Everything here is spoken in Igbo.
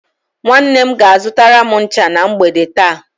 Nwanne m ga-azụtara m ncha na mgbede taa.